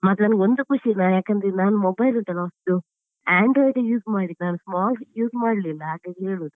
ಮತ್ತೆ ನನ್ಗೊಂದು ಖುಷಿ ಯಾಕಂದ್ರೆ ನಾನು mobile ಉಂಟಲ್ಲ ಹೊಸ್ದು android ಎ use ಮಾಡಿದ್ದು ನಾನ್ small use ಮಾಡ್ಲಿಲ್ಲ ಹಾಗಾಗಿ ಹೇಳುವುದು.